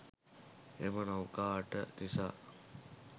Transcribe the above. එම නෞකා අට නිසා